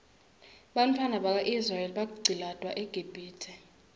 bantfwana baka israel baqcilatwa eqibhitue